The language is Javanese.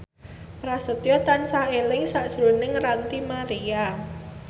Prasetyo tansah eling sakjroning Ranty Maria